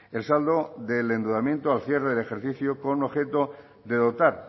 el saldo del endeudamiento al cierre del ejercicio con objeto de dotar